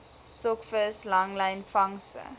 stokvis langlyn vangste